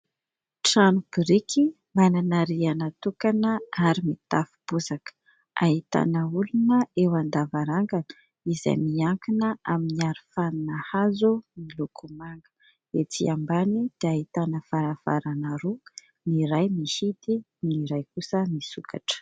Trano biriky manana rihana tokana ary mitafo bozaka. Ahitana olona eo an-davarangana izay miankina amin'ny arofanina hazo miloko manga. Ety ambany dia ahitana varavarana roa, ny iray mihidy, ny iray kosa misokatra.